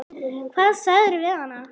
Hvað sagðirðu við hana?